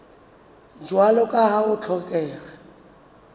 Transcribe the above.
jwalo ka ha ho hlokeha